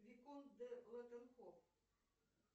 виконт де леттенхоф